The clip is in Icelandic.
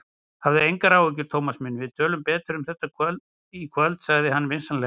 Hafðu engar áhyggjur, Thomas minn, við tölum betur um þetta í kvöld sagði hann vinsamlega.